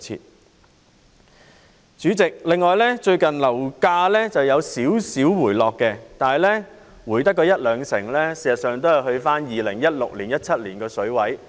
代理主席，最近樓價輕微回落，但只是下調一兩成，回到2016年、2017年的水平。